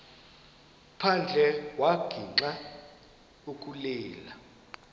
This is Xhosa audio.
phandle wagixa ukulila